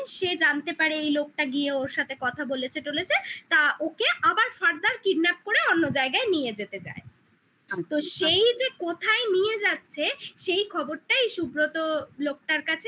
সে জানতে পারে এই লোকটা গিয়ে ওর সাথে কথা বলেছে টোলেজে তা ওকে আবার further kidnap করে অন্য জায়গায় নিয়ে যেতে চায় আচ্ছা তো সেই যে কোথায় নিয়ে যাচ্ছে সেই খবরটাই সুব্রত লোকটার কাছে